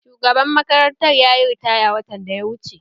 Shugaban makarantar yayi ritaya watan da ya wuce